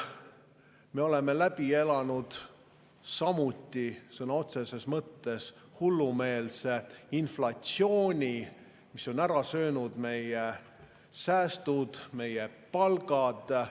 Me oleme läbi elanud sõna otseses mõttes hullumeelse inflatsiooni, mis on ära söönud meie säästud, meie palgad.